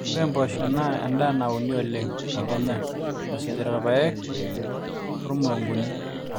ore impoosho naa endaa nauni oleng te kenya esujita irpaek ormurunguni